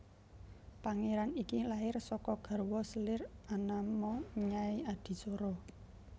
Pangéran iki lair saka garwa selir anama Nyai Adisara